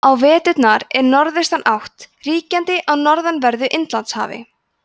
á vetrum er norðaustanátt ríkjandi á norðanverðu indlandshafi